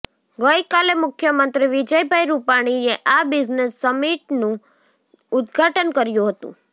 ગઈકાલે મુખ્યમંત્રી વિજયભાઈ રૂપાણીએ આ બિઝનેશ સમીટનું ઉદ્ઘાટન કર્યું હતું